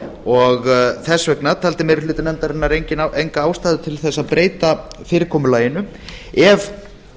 og þess vegna taldi meiri hluti nefndarinnar enga ástæðu til þess að breyta fyrirkomulaginu ef